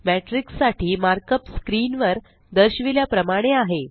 matrix साठी markup screen वर दर्शिवील्या प्रमाणे आहे